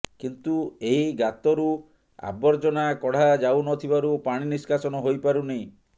କିନ୍ତୁ ଏହି ଗାତରୁ ଆବର୍ଜନା କଢ଼ା ଯାଉନଥିବାରୁ ପାଣି ନିଷ୍କାସନ ହୋଇପାରୁନି